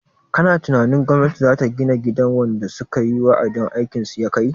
Kana tunanin gwamnati zata gina gidan wanda sukayi wa'adin aikin su yakai?